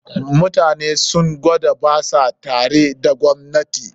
Mutanen sun gwada ba sa tare da gwamnatin